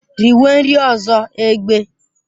Riwe nri ọzọ, egbe!